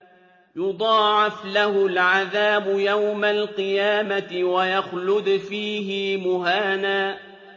يُضَاعَفْ لَهُ الْعَذَابُ يَوْمَ الْقِيَامَةِ وَيَخْلُدْ فِيهِ مُهَانًا